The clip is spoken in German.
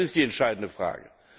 Das ist die entscheidende Frage.